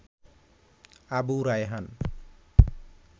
Abu Raihan